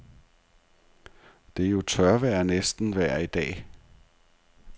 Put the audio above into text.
Det er jo tørvejr næsten vejr dag.